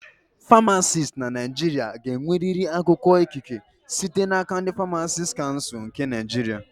Famacisti na Naịjirịa ga-enwerịrị akwụkwọ ikike site n'aka ndị Famacisti Kansul nke Naịjirịa